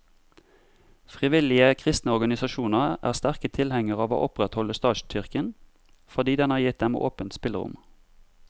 Frivillige kristne organisasjoner er sterke tilhengere av å opprettholde statskirken, fordi den har gitt dem åpent spillerom.